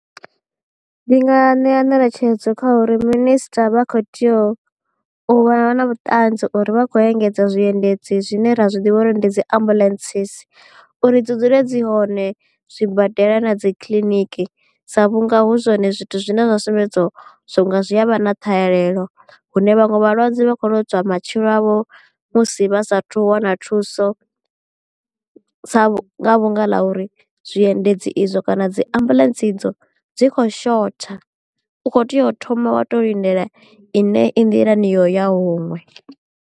Ndi nga ṋea ngeletshedzo kha uri minister vha kho tea u vha na vhuṱanzi uri vha khou engedza zwiendedzi zwine ra zwi ḓivha uri ndi dzi ambulance uri dzi dzule dzi hone zwi badela na dzi kiḽiniki sa vhunga hu zwone zwithu zwine zwa sumbedza zwi a vha na ṱhahelelo hune vhaṅwe vhalwadze vha khou lozwa matshilo avho musi vha sathu wana thuso vhu nga vhanga ḽa uri zwi endedzi izwo kana dzi ambuḽentse idzo dzi kho shotha u kho tea u thoma wa to lindela i ne i nḓilani yo ya huṅwe.